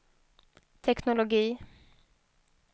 teknologi